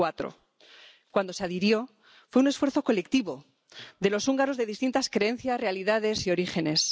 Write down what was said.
2004. Cuando se adhirió fue un esfuerzo colectivo de los húngaros de distintas creencias, realidades y orígenes.